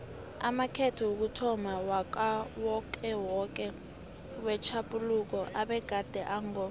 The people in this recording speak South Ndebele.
amakhetho wokuthomma wakawokewoke wetjhaphuluko abegade ango